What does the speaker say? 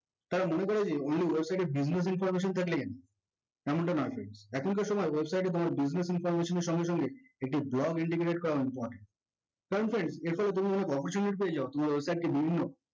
তারা মনে করে যে only website এ business information থাকলেই হবে, এমনটা না friends এখনকার সময় website এ কোনো business information এর সঙ্গে সঙ্গে একটি blog indicated করা important কারণ friends এরপর তুমি যদি official lead পেয়ে যাও তোমার website টি বিভিন্ন